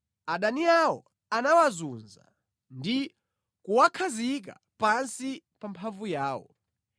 Adani awo anawazunza ndi kuwakhazika pansi pa mphamvu yawo.